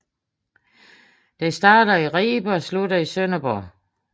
Den starter i Ribe og slutter i Sønderborg